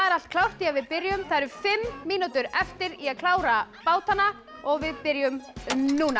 allt klárt því við byrjum það eru fimm mínútur eftir í að klára bátana og við byrjum núna